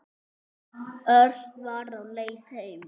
Örn var á leið heim.